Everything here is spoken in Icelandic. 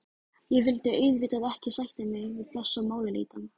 Ég vildi auðvitað ekki sætta mig við þessa málaleitan.